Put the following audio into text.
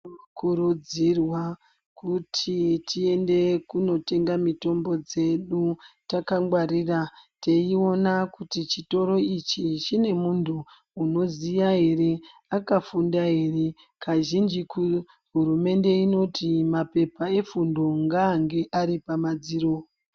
Tinokurudzirwa kuti tiende kunotenga mitombo dzedu takangwarira teiona kuti chitoro ichi chine muntu unoziya here, akafunda ere. Kazhinji hurumende inoti mapepa efundo ngaange ari pamadziro.